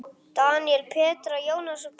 Daníel, Petra, Jónas Pálmi.